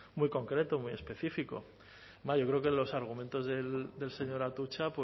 muy concreto muy específico yo creo que los argumentos del señor atutxa